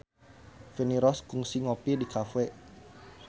Feni Rose kungsi ngopi di cafe